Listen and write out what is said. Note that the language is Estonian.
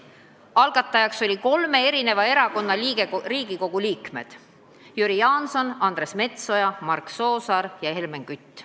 Algatajad olid kolme parlamendifraktsiooni liikmed: Jüri Jaanson, Andres Metsoja, Mark Soosaar ja Helmen Kütt.